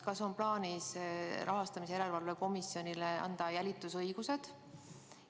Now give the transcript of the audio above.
Kas on plaanis anda rahastamise järelevalve komisjonile jälitusõigused?